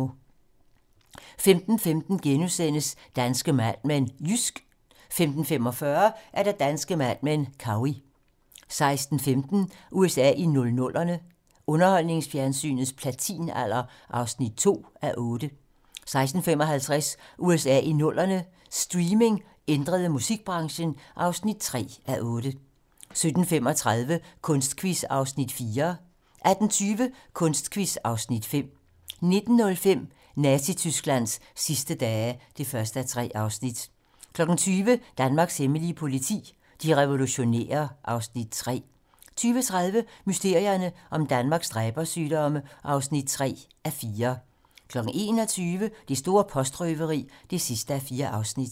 15:15: Danske Mad Men: Jysk * 15:45: Danske Mad Men: Cowey 16:15: USA i 00'erne - underholdningsfjernsynets platinalder (2:8) 16:55: USA i 00'erne - streaming ændrede musikbranchen (3:8) 17:35: Kunstquiz (Afs. 4) 18:20: Kunstquiz (Afs. 5) 19:05: Nazi-Tysklands sidste dage (1:3) 20:00: Danmarks hemmelige politi: De revolutionære (Afs. 3) 20:30: Mysterierne om Danmarks dræbersygdomme (3:4) 21:00: Det store postrøveri (4:4)